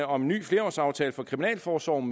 om en ny flerårsaftale for kriminalforsorgen